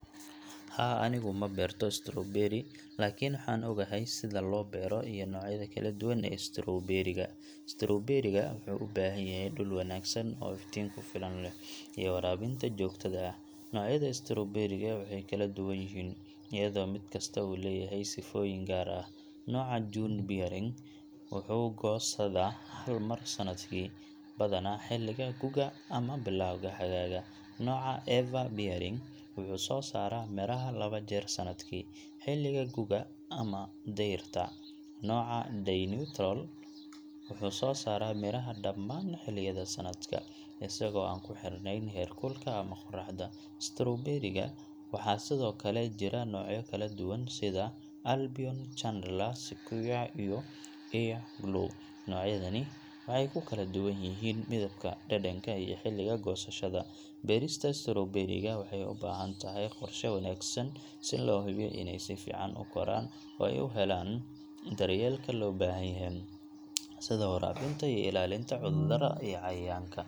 Haa, anigu ma beerto strawberry, laakiin waxaan ogahay sida loo beero iyo noocyada kala duwan ee strawberry ga. Strawberry ga wuxuu u baahan yahay dhul wanaagsan oo iftiin ku filan leh, iyo waraabinta joogtada ah. Noocyada strawberry ga waxay kala duwan yihiin, iyadoo mid kasta uu leeyahay sifooyin gaar ah. Nooca June-bearing wuxuu goosadaa hal mar sannadkii, badanaa xilliga gu'ga ama bilowga xagaaga. Nooca Ever-bearing wuxuu soo saaraa miraha laba jeer sannadkii, xilliga gu'ga iyo dayrta. Nooca Day-neutral wuxuu soo saaraa miraha dhammaan xilliyada sanadka, isagoo aan ku xirnayn heerkulka ama qorraxda. Strawberry-ga waxaa sidoo kale jira noocyo kala duwan sida Albion, Chandler, Sequoia, iyo Earliglow. Noocyadani waxay ku kala duwan yihiin midabka, dhadhanka, iyo xilliga goosashada. Beerista strawberry-ga waxay u baahan tahay qorshe wanaagsan si loo hubiyo inay si fiican u koraan oo ay u helaan daryeelka loo baahan yahay, sida waraabinta iyo ilaalinta cudurada iyo cayayaanka.